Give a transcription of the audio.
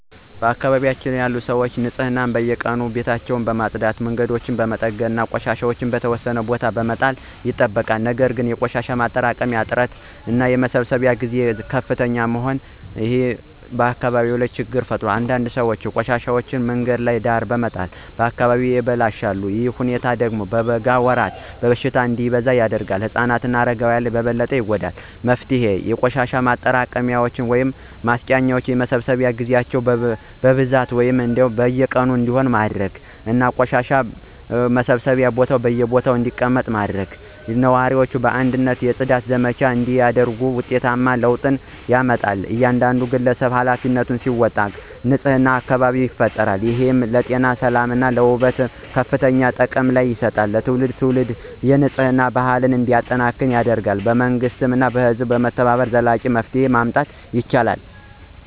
በአካባቢያችን ሰዎች ንፅህናን በየቀኑ ቤታቸውን በማጽዳት መንገዶችን በመጠገን እና ቆሻሻ በተወሰነ ቦታ በመጣል ይጠብቃሉ ነገር ግን የቆሻሻ መጣያ እጥረት የመሰብሰብ መዘግየት እና ዝቅተኛ የህዝብ ግንዛቤ ዋና ችግሮች ናቸው። አንዳንድ ሰዎች ቆሻሻቸውን በመንገድ ዳር በመጣል አካባቢውን ያበላሻሉ። ይህ ሁኔታ በበጋ ወራት በሽታ እንዲበዛ ያደርጋል። ህፃናት እና አረጋውያን በበለጠ ይጎዳሉ። መፍትሄው የቆሻሻ መጣያ ማመንጨት የመሰብሰብ ጊዜ ማብዛት ህዝብን ማሳወቅ እና ህግ ማስፈጸም ይጠቀሳሉ። ነዋሪዎች በአንድነት የጽዳት ዘመቻ ሲያደርጉ ውጤታማ ለውጥ ይመጣል። እያንዳንዱ ግለሰብ ኃላፊነቱን ሲወጣ ንፁህ አካባቢ ይፈጠራል። ይህ ለጤና ሰላም እና ውበት ከፍተኛ ጥቅም ያመጣል። ትውልድ ትውልድ የንፅህና ባህል እንዲጠናከር ይረዳል መንግሥት እና ህዝብ በመተባበር ዘላቂ መፍትሄ ማምጣት ይችላሉ።